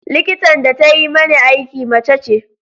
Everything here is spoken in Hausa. Likitan da ta yi mani aiki mace ce.